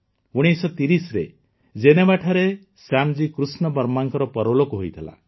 ୧୯୩୦ରେ ଜେନେଭାଠାରେ ଶ୍ୟାମଜୀ କୃଷ୍ଣ ବର୍ମାଙ୍କ ପରଲୋକ ହୋଇଥିଲା